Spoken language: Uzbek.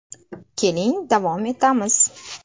Keling davom etamiz.